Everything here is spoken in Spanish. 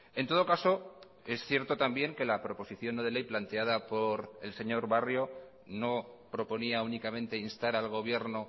en todo caso es cierto también que la proposición no de ley planteada por el señor barrio no proponía únicamente instar al gobierno